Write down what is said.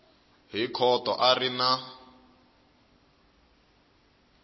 hi khoto a ri na